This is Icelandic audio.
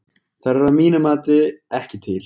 Þær eru að mínu mati ekki til.